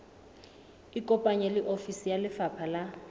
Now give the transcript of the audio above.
ikopanye le ofisi ya lefapha